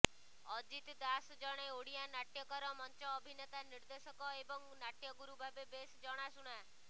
ଅଜିତ ଦାସ ଜଣେ ଓଡ଼ିଆ ନାଟ୍ୟକାର ମଞ୍ଚ ଅଭିନେତା ନିର୍ଦ୍ଦେଶକ ଏବଂ ନାଟ୍ୟଗୁରୁ ଭାବେ ବେଶ୍ ଜଣାଶୁଣା